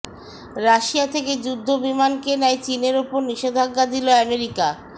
Russia থেকে যুদ্ধবিমান কেনায় চীনের ওপর নিষেধাজ্ঞা দিল আমেরিকা